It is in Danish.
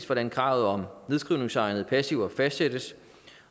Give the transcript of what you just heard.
hvordan kravet om nedskrivningsegnede passiver fastsættes